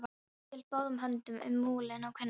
Bóndi hélt báðum höndum um múlinn á kúnni.